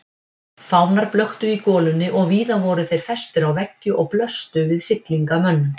Fánar blöktu í golunni og víða voru þeir festir á veggi og blöstu við siglingamönnum.